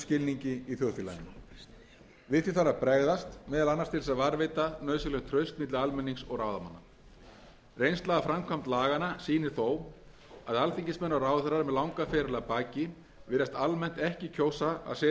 skilningi í þjóðfélaginu við því þarf að bregðast meðal annars til að varðveita nauðsynlegt traust milli almennings og ráðamanna reynsla af framkvæmd laganna sýnir þó að alþingismenn og ráðherrar með langan feril að baki virðast almennt ekki kjósa að setjast í helgan stein þegar eftirlaunaaldri